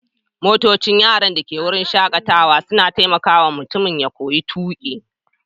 Motocin yaran da ke wurin shakatawa suna taimaka wa mutum ya koyon tuƙi.